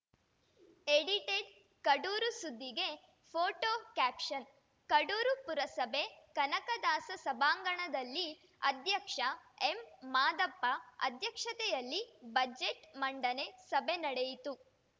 edited Kadur ಸುದ್ದಿಗೆ photo caption Kadur ಪುರಸಭೆ ಕನಕದಾಸ ಸಭಾಂಗಣದಲ್ಲಿ ಅಧ್ಯಕ್ಷ ಎಂ ಮಾದಪ್ಪ ಅಧ್ಯಕ್ಷತೆಯಲ್ಲಿ ಬಜೆಟ್‌ ಮಂಡನೆ ಸಭೆ ನಡೆಯಿತು